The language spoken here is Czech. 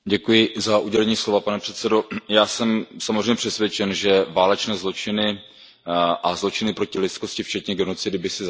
Pane předsedající, já jsem samozřejmě přesvědčen, že válečné zločiny a zločiny proti lidskosti, včetně genocidy, by si zasloužily debatu.